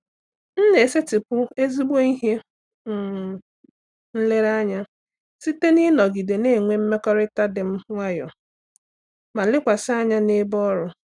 M na-esetịpụ ezigbo ihe um nlereanya site n’ịnọgide na-enwe mmekọrịta dị nwayọọ ma lekwasị anya n’ebe ọrụ.